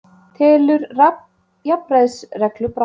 Telur jafnræðisreglu brotna